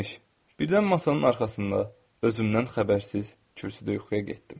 Birdən masanın arxasında, özümdən xəbərsiz kürsüdə yuxuya getdim.